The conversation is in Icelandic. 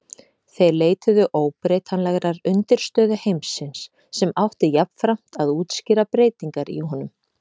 Þeir leituðu óbreytanlegrar undirstöðu heimsins sem átti jafnframt að útskýra breytingar í honum.